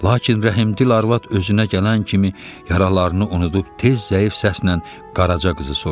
Lakin rəhimdil arvad özünə gələn kimi yaralarını unudub tez zəif səslə Qaraca qızı soruşdu.